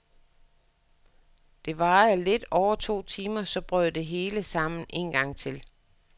Det varede lidt over to timer, så brød det hele sammen en gang til.